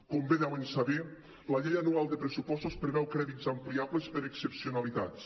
com bé deuen saber la llei anual de pressupostos preveu crèdits ampliables per a excepcionalitats